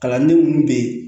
Kalanden minnu bɛ yen